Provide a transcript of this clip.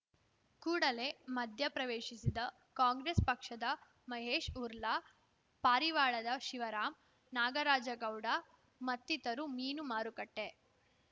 ಕೂಡಲೇ ಮಧ್ಯಪ್ರವೇಶಿಸಿದ ಕಾಂಗ್ರೆಸ್‌ ಪಕ್ಷದ ಮಹೇಶ್‌ ಹುರ್ಲಾ ಪಾರಿವಾಳದ ಶಿವರಾಂ ನಾಗರಾಜಗೌಡ ಮತ್ತಿತರು ಮೀನು ಮಾರುಕಟ್ಟೆ